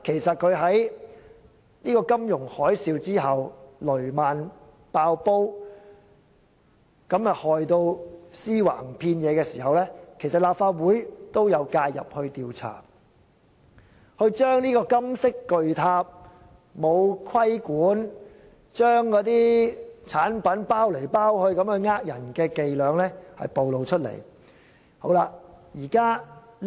在金融海嘯期間，雷曼"爆煲"導致屍橫遍野，立法會當時也有介入調查，揭發這個金色巨塔欠缺規管，只懂包裝產品欺騙投資者。